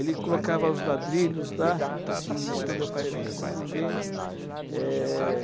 Ele colocava os ladrilhos lá, assim, ensinou meu pai a colocar como ninguém. Eh...